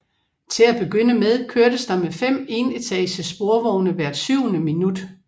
Til at begynde med kørtes der med fem enetages sporvogne hvert syvende minut